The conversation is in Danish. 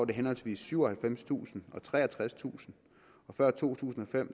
det henholdsvis syvoghalvfemstusind og treogtredstusind og før to tusind og fem